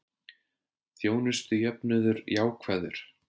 Þjónustujöfnuður jákvæður